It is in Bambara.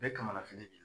Bɛɛ ye kamanafoli ji